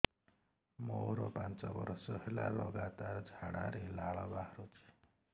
ମୋରୋ ପାଞ୍ଚ ବର୍ଷ ହେଲା ଲଗାତାର ଝାଡ଼ାରେ ଲାଳ ବାହାରୁଚି